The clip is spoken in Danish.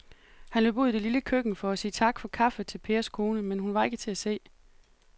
Han løb ud i det lille køkken for at sige tak for kaffe til Pers kone, men hun var ikke til at se.